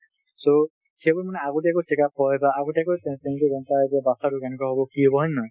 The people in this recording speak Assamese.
so সেইবোৰ মানে আগতীয়াকৈ checkup হয় বা আগতীয়াকৈ গম পাই যে বাচ্ছাটো কেনেকুৱা হব কি হব, হয় নে নহয়?